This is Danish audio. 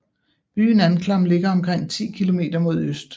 Byen Anklam ligger omkring ti kilometer mod øst